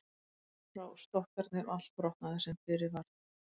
Gengu þá frá stokkarnir og allt brotnaði það sem fyrir varð.